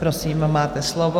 Prosím, máte slovo.